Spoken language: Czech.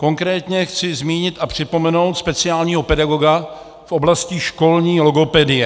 Konkrétně chci zmínit a připomenout speciálního pedagoga v oblasti školní logopedie.